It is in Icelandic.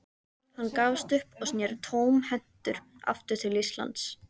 Hann gafst upp og sneri tómhentur aftur til Íslands.